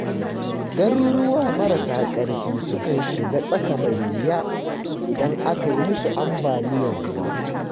Garuruwa marasa ƙarfi sukan shiga tsaka-mai-wuya, idan aka yi musu ambaliyar ruwa.